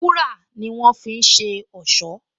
Wúrà ni wọ́n fi ń ṣe ọ̀ṣọ́